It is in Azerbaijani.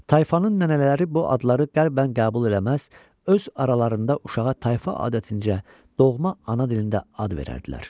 Tayfanın nənələri bu adları qəlbən qəbul eləməz, öz aralarında uşağa tayfa adətincə doğma ana dilində ad verərdilər.